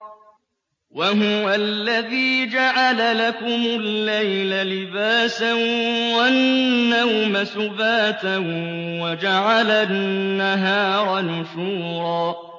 وَهُوَ الَّذِي جَعَلَ لَكُمُ اللَّيْلَ لِبَاسًا وَالنَّوْمَ سُبَاتًا وَجَعَلَ النَّهَارَ نُشُورًا